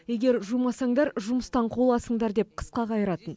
егер жумасаңдар жұмыстан қуыласыңдар деп қысқа қайыратын